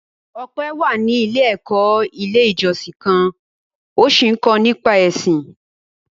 Ọpẹ́ wà ní ilé-ẹ̀kọ́ Ilé-ìjọsìn kan ó sì ń kọ́ nípa Ẹ̀sìn.